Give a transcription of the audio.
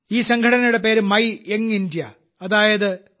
ഈ സംഘടനയുടെ പേര് മേര യുവ ഭാരത് അതായത് മൈഭാരത്